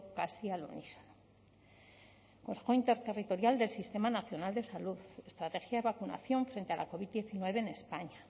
casi al unísono consejo interterritorial del sistema nacional de salud estrategia de vacunación frente a la covid diecinueve en españa